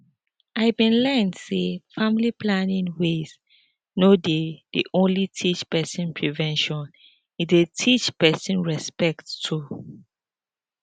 i bin learn say family planning ways no dey dey only teach peson prevention e dey teach peson respect too